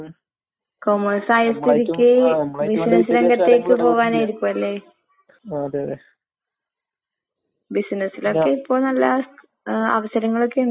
പഠിച്ചോണ്ടല്ലേ ഇങ്ങനെ കിട്ടിയത്ന്ന്. അപ്പൊ ഇപ്പൊ പഠിക്കാത്ത ചെറിയ കൊറച്ചിപ്പൊ പ്ലസ് ടു പഠിച്ച് അല്ലേ പത്ത് പഠിച്ച് നിക്ക്ന്നവര്ന്ന് വിചാരിക്ക് അവരിക്കിപ്പം ജോലി കിട്ടി. ജോലി കിട്ടിയ ആ സമയം അവര്ക്ക് കിട്ട്ന്നത് ചെറിയ ശമ്പളം.